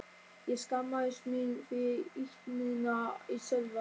Ég skammaðist mín fyrir ýtnina í Sölva.